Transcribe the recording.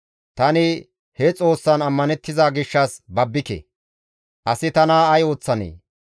tani he Xoossan ammanettiza gishshas babbike; asi tana ay ooththanee?